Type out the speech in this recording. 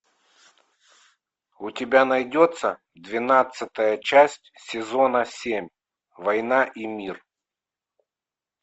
у тебя найдется двенадцатая часть сезона семь война и мир